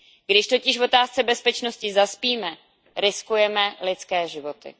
Když totiž v otázce bezpečnosti zaspíme, riskujeme lidské životy.